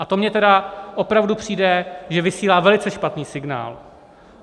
A to mně tedy opravdu přijde, že vysílá velice špatný signál.